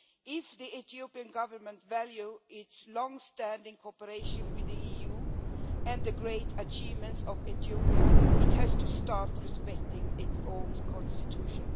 If the Ethiopian government values its long standing cooperation with the EU and the great achievements of Ethiopia, it has to start respecting its own constitution.